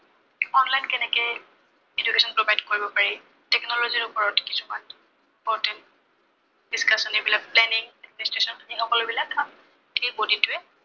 online কেনেকে education provide কৰিব পাৰি। technology ৰ ওপৰত কিছুমান important discussion এইবিলাক planning এই সকলোবিলাক এই body টোৱে